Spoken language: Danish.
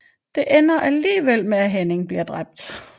Det ender alligevel med at Henning bliver dræbt